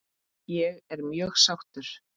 Ég er mjög sáttur.